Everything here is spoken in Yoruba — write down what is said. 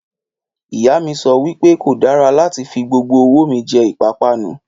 Ìyá mi sọ wípé kò dára láti fi gbogbo owó mi jẹ ìpápánu